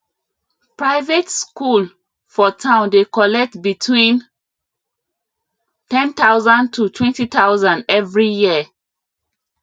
private school for town dey collect between 10000 to 20000 every year